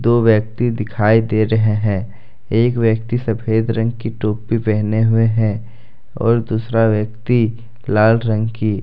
दो व्यक्ति दिखाई दे रहे हैं एक व्यक्ति सफेद रंग की टोपी पहने हुए हैं और दूसरा व्यक्ति लाल रंग की।